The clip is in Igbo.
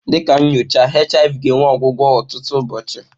Dị ka nyocha HIV ga-enwe ọgwụgwọ ọtụtụ ụbọọchi.